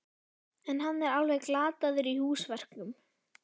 En hann er alveg glataður í húsverkum.